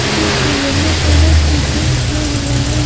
जो कि yellow colour से पेंट किया हुआ है।